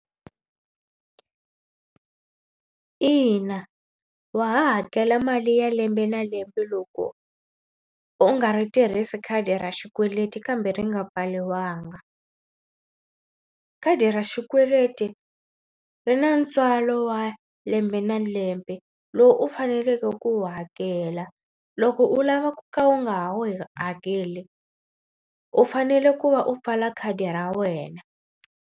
Ina wa ha hakela mali ya lembe na lembe loko u nga ri tirhisi khadi ra xikweleti kambe ri nga pfariwanga. Khadi ra xikweleti ri na ntswalo wa lembe na lembe lowu u faneleke ku wu hakela. Loko u lava ku ka u nga hakeli u fanele ku va u pfala khadi ra wena.